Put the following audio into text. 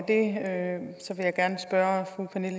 at